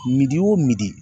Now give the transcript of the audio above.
o